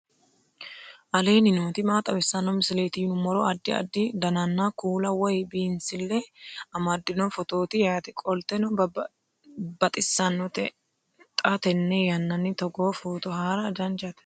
aleenni nooti maa xawisanno misileeti yinummoro addi addi dananna kuula woy biinsille amaddino footooti yaate qoltenno baxissannote xa tenne yannanni togoo footo haara danchate